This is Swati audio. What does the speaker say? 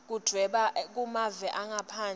yekudvweba kumave angaphandle